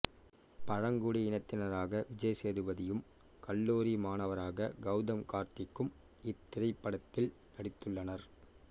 பழங்குடி இனத்தினராக விஜய் சேதுபதியும் கல்லூரி மாணவராக கெளதம் கார்த்திக்கும் இத்திரைப்படத்தில் நடித்துள்ளனர்